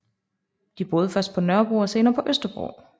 De boede først på Nørrebro og senere på Østerbro